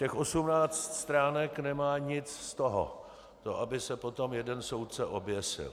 Těch 18 stránek nemá nic z toho, to aby se potom jeden soudce oběsil.